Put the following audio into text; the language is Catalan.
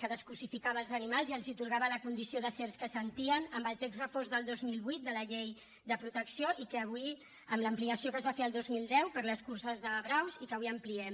que descosificava els animals i els atorgava la condició d’éssers que sentien amb el text refós del dos mil vuit de la llei de protecció amb l’ampliació que se’n va fer el dos mil deu per a les curses de braus i que avui ampliem